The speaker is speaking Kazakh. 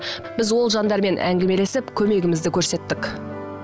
біз ол жандармен әңгімелесіп көмегімізді көрсеттік